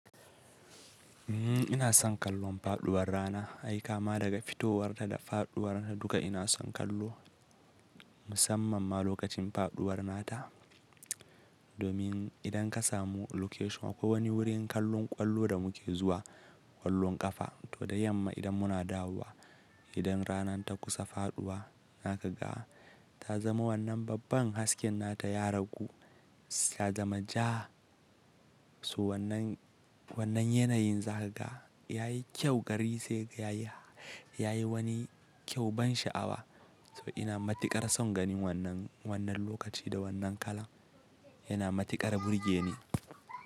Uhm, ina son kallon faɗuwar rana. Ai kama daga fitowarta da faɗuwarta duka ina son kallo. Musamman ma lokacin faɗuwar nata. Domin idan ka samu location, akwai wani wurin kallon ƙwallo da muke zuwa, ƙwallon ƙafa. To da yamma idan muna dawowa, idan ranar ta kusa faɗuwa, zaka ga ta zama wannan babban hasken nata ya raku, ta zama ja. So wannan, wannan yanayin zaga yayi kyau gari sai yayi, yayi wani kyau ban sha'awa. So ina matuƙar son ganin wannan, wannan lokaci da wannan kala. Yana matuƙar burge ni.